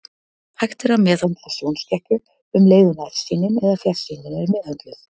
Hægt er að meðhöndla sjónskekkju um leið og nærsýnin eða fjarsýnin er meðhöndluð.